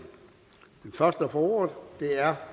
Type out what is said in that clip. får ordet er